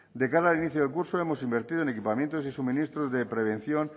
de cara al inicio del curso hemos invertido en equipamientos y suministros de prevención